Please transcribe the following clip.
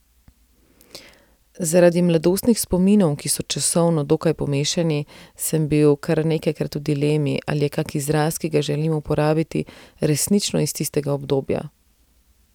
Zaradi mladostnih spominov, ki so časovno dokaj pomešani, sem bil kar nekajkrat v dilemi, ali je kak izraz, ki ga želim uporabiti, resnično iz tistega obdobja.